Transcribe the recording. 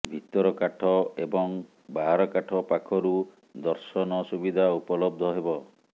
ଭିତରକାଠ ଏବଂ ବାହାରକାଠ ପାଖରୁ ଦର୍ଶନ ସୁବିଧା ଉପଲବ୍ଧ ହେବ